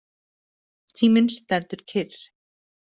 Tíminn stendur kyrr.